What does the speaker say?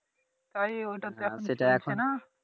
তাই ওইটা তে এখন ফিরছেনা